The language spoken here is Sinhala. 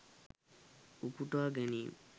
උපුටා ගැනීම්